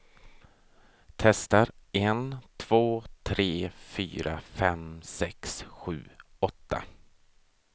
Testar en två tre fyra fem sex sju åtta.